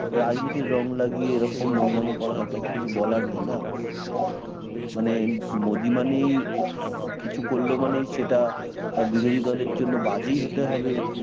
রাজনীতির রং লাগিয়ে এরকম নোংরামো করা হয় তাতে তো কিছু বলার নেই না, মানে মোদি মানেই কিছু করল মানে সেটা তার বিরোধী দলের জন্য বাজেই হতে হবে